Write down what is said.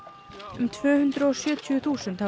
um tvö hundruð og sjötíu þúsund hafa